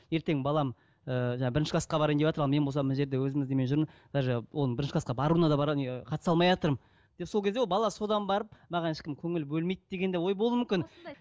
ертең балам ыыы жаңағы бірінші класқа барайын деватыр ал мен болсам мына жерде өзіміздің немен жүрмін даже оның бірінші класқа баруына да бар ғой не қатыса алмайатырмын деп сол кезде ол бала содан барып маған ешкім көңіл бөлмейді деген де ой болуы мүмкін